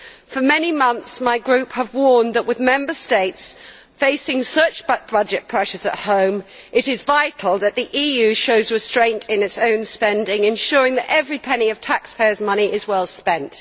For many months, my group has warned that with Member States facing such budget pressures at home, it is vital that the EU show restraint in its own spending, ensuring that every penny of taxpayers' money is well spent.